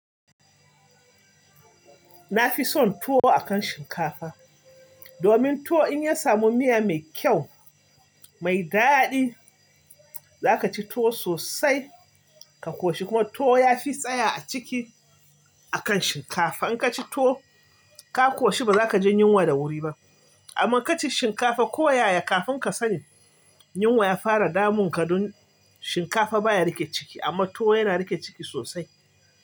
Na fi son tuwo akan shinkafa domin tuwo in ya samu miya mai kyau, mai daɗi, za ka ci tuwo sosai ka koshi kuma tuwo ya fi tsaya a ciki akan shinkafa. In ka ci tuwo ka koshi ba za ka ji yunwa da wuri ba amma ka ci shinkafa koyaya kafin ka sani yunwa ya fara damun ka don shinkafa baya riƙe ciki amma tuwo yana riƙe ciki sosai.